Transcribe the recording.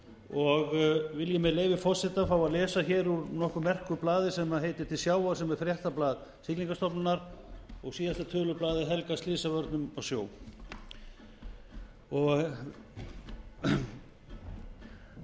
og vil ég með leyfi forseta fá að lesa hér úr nokkuð merku blaði sem heitir til sjávar sem er fréttablað siglingastofnunar og síðasta tölublað er helgað slysavörnum úti á sjó